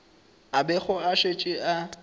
a bego a šetše a